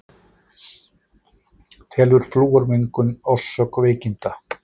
Telur flúormengun orsök veikinda